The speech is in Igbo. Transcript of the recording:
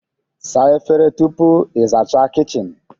Saa efere tupu ị zachaa kichin